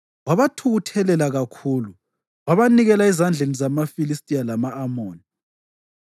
wabathukuthelela kakhulu. Wabanikela ezandleni zamaFilistiya lama-Amoni,